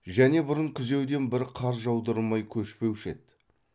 және бұрын күзеуден бір қар жаудырмай көшпеуші еді